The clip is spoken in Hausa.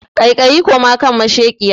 Kaikayi koma kan masheƙiya!